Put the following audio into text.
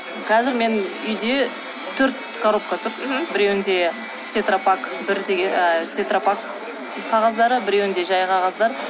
қазір мен үйде төрт коробка тұр біреуінде тетропак бір ы тетропак қағаздары тұр біреуінде жай қағаздар